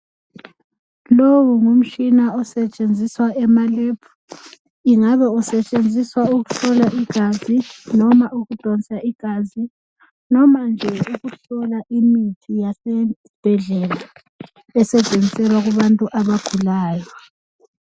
Lowu ngumtshina osetshenziswa emalebhu. Ingabe usetshenziswa ukuhlola igazi, noma ukudonsa igazi, noma nje ukuhlola imithi yasezibhedlela esetshenziswa kubantu abagulayo.